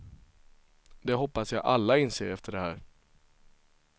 Det hoppas jag alla inser efter det här.